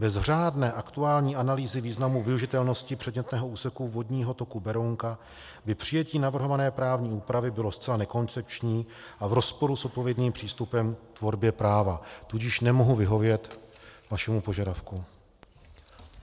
Bez řádné aktuální analýzy významu využitelnosti předmětného úseku vodního toku Berounka by přijetí navrhované právní úpravy bylo zcela nekoncepční a v rozporu s odpovědným přístupem k tvorbě práva, tudíž nemohu vyhovět vašemu požadavku.